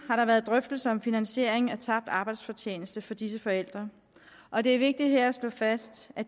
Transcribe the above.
har der været drøftelser om finansiering af tabt arbejdsfortjeneste for disse forældre og det er vigtigt her at slå fast at